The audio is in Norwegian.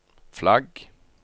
flagg